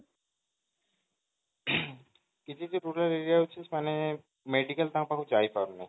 କିଛିତ rural area ରହୁଛି ସେମାନେ medical ତାଙ୍କ ପାଖକୁ ଯାଇ ପାରୁନି